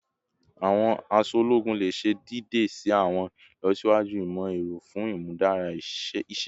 Awọn aṣọ ologun le ṣe deede si awọn ilọsiwaju imọ-ẹrọ fun imudara iṣẹ